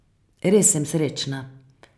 Res sem srečna.